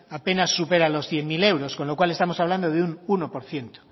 apenas supera los cien mil euros con lo cual estamos hablando de un uno por ciento